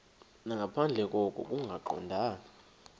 nangaphandle koko kungaqondani